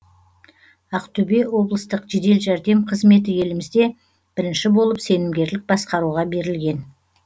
ақтөбе облыстық жедел жәрдем қызметі елімізде бірінші болып сенімгерлік басқаруға берілген